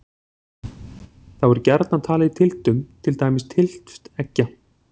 Þá er gjarnan talið í tylftum, til dæmis tylft eggja.